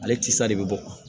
Ale tisa de bɛ bɔ